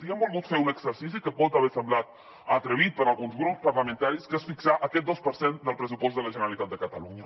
i hem volgut fer un exercici que pot haver semblat atrevit per a alguns grups parlamentaris que es fixar aquest dos per cent del pressupost de la generalitat de catalunya